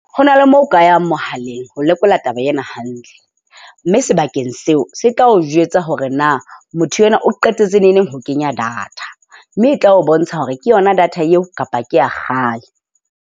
Ho na le moo o ka yang mohaleng ho lekola taba ena hantle. Mme sebakeng seo se tla o jwetsa hore na motho enwa o qetetse nengneng ho kenya data. Mme e tla o bontsha hore ke yona data eo kapa ke a kgale.